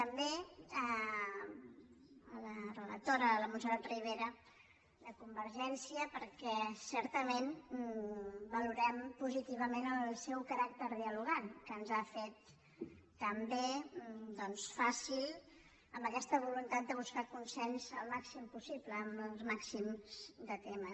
també a la relatora a la montserrat ribera de convergència perquè certament valorem positivament el seu caràcter dialogant que ens ho ha fet també fàcil amb aquesta voluntat de buscar consens al màxim possible en el màxim de temes